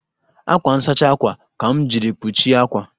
Ákwà nsachi àkwà ka m jiri kpuchie àkwà